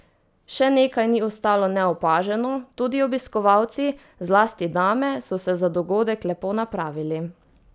Še nekaj ni ostalo neopaženo, tudi obiskovalci, zlasti dame, so se za dogodek lepo napravili.